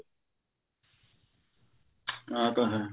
ਆ ਤਾਂ ਹੈ